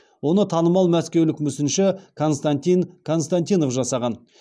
оны танымал мәскеулік мүсінші константин константинов жасаған